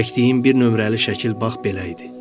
Çəkdiyim bir nömrəli şəkil bax belə idi.